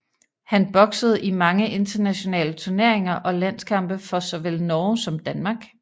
Han boksede i mange internationale turneringer og landskampe for så vel Norge som Danmark